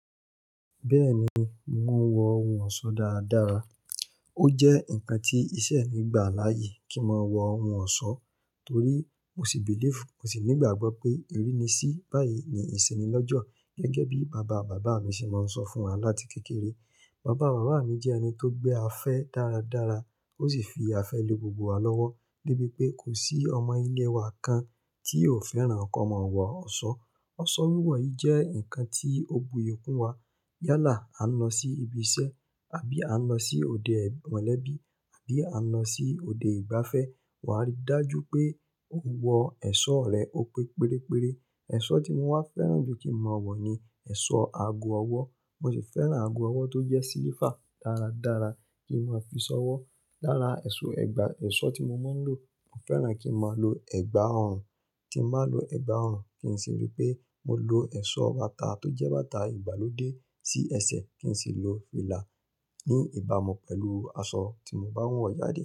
Bẹ́ẹ̀ni, mò ń wọ ohun ọ̀sọ́ dáradára. Ó jẹ́ ǹkan tí iṣẹ́ mi gbà láyè kí mà wọ ohun ọ̀sọ́ torí mo sì believe, mo sì ní ìgbàgbọ́ pé erínisí báyìí ni ìsìn ní lọ́jọ́ gẹ́gẹ́ bí bàbá bàbá mi ṣe máa ń sọ fún wa láti kékeré. Bàbá bàbá mi jẹ́ ẹni tó gbé afẹ́ dáradára ó sì fi afẹ́ le gbogbo wa lọ́wọ́ de bi pé kò sí ọmọ ilé wa kan tí ò fẹ́ràn ko mọ̀ wọ ọ̀sọ́. Ọ̀sọ́ wíwọ̀ yìí jẹ́ ǹkan tí ó buyì kún wa. Yálà a ń lọ sí ibi iṣẹ́ àbí a ń lọ sí òde mọ̀lẹ́bí àbí a ń lọ sí òde ìgbafẹ́, wà á rí dájú pé ó wọ ẹ̀sọ́ rẹ ó pé pérére. Ẹ̀sọ́ tí mo wá fẹ́ràn jù kí mà wọ̀ ni ẹ̀sọ́ ago ọwọ́. Mo sì fẹ́ràn ago ọwọ́ tó jẹ́ silifa dáradára kí mà fi ṣọ́wọ́. Lára ẹ̀sọ́ ẹ̀gbà ẹ̀sọ́ tí mo máa ń lò, mo fẹ́ràn kí mà lo ẹ̀gbà òòrùn. Ti bà lo ẹ̀gbà òòrùn, kí n sì rí pé mo lo ẹ̀sọ́ bàtà tó jẹ́ bàtà ìgbàlódé sí ẹsẹ̀ kí n sì lo fìlà ní ìbámu pẹ̀lú aṣọ tí mo bá wọ̀ jade.